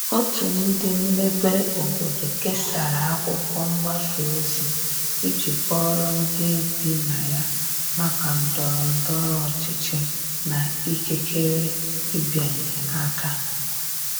otu ndi mmebe obodo kesara akwụkwo mgbasa ozi iji kọoro ndi ibi na ya maka ndoro ndoro ochichi na ikekere ịbịanye aka